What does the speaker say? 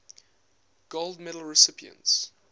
gold medal recipients